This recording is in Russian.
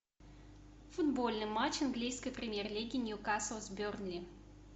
футбольный матч английской премьер лиги ньюкасл с бернли